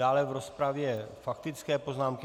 Dále v rozpravě faktické poznámky.